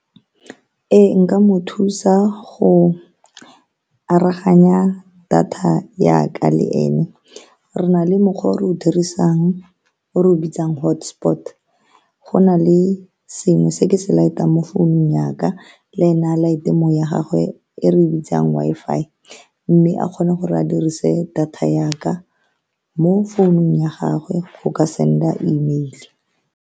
Ee, nka mo thusa go aroganya data ya ka le ene. Re na le mokgwa o re o dirisang, o re o bitsang hotspot-to. Go na le sengwe se ke se light-tang mo founung ya ka le ene, a light-te ya gagwe e re e bitsang Wi-Fi, mme a kgone gore a dirise data ya ka mo founung ya gagwe go ka send-a email.